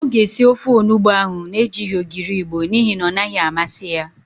Ọ ga-esi ofe onugbo ahụ na-ejighi ogiri Igbo n'ihi na ọ naghị amasị ya.